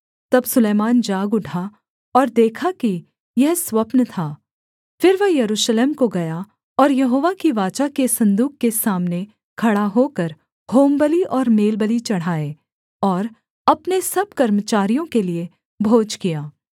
तब सुलैमान जाग उठा और देखा कि यह स्वप्न था फिर वह यरूशलेम को गया और यहोवा की वाचा के सन्दूक के सामने खड़ा होकर होमबलि और मेलबलि चढ़ाए और अपने सब कर्मचारियों के लिये भोज किया